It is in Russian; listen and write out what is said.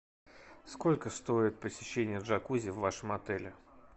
сколько стоит посещение джакузи в вашем отеле